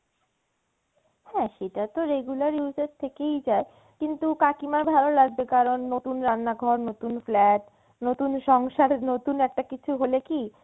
হ্যাঁ সেটা তো regular use এর থেকেই যায় কিন্তু কাকিমার ভালো লাগবে কারন নতুন রান্নাঘর নতুন flat নতুন সংসারের নতুন একটা কিছু হলে কি